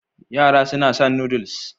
Yara suna son Noodles